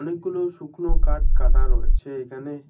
গুলো শুকনো কাঠ কাটা রয়েছে এখানে।